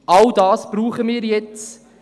All das brauchen wir jetzt.